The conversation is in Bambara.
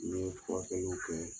N ye furakɛli jɔ ye n